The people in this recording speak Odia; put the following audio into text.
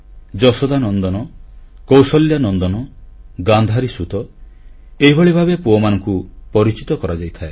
ଯଶୋଦାନନ୍ଦନ କୌଶଲ୍ୟାନନ୍ଦନ ଗାନ୍ଧାରୀସୁତ ଏହିଭଳି ଭାବେ ପୁଅମାନଙ୍କୁ ପରିଚିତ କରାଇଯାଇଥାଏ